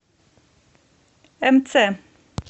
мц